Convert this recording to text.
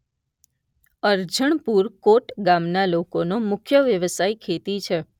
અરજણપુર કોટ ગામના લોકોનો મુખ્ય વ્યવસાય ખેતી છે.